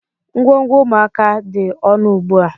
Ngwongwo ụmụaka dị ọnụ ugbu a.